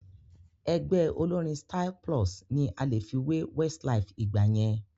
Ẹgbẹ́ olórín Styl-Plus ni a lè fi wé Westlife ìgbà yẹn